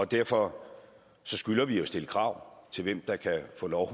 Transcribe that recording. derfor skylder vi at stille krav til hvem der kan få lov